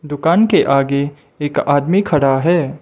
दुकान के आगे एक आदमी खड़ा है।